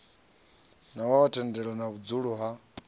na thendelo ya vhudzulo ha